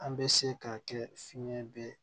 An bɛ se ka kɛ fiɲɛ bɛɛ